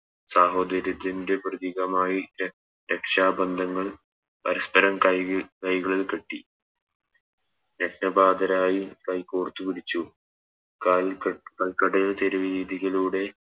സാഹോദര്യത്തിൻറെ പ്രതീകമായി രക്ഷാ ബന്ധങ്ങൾ പരസ്പരം കൈ കൈകളിൽ കെട്ടി രക്ത പാതരായി കൈ കോർത്തു പിടിച്ചു കാൽ ക് കൽക്കട തെരുവ് വീഥികളിലൂടെ